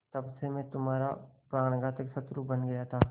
तब से मैं तुम्हारा प्राणघातक शत्रु बन गया था